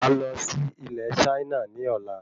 Má lọ sí ilé Chaina ní ọ̀la